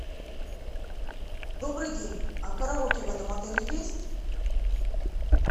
добрый день а караоке в этом отеле есть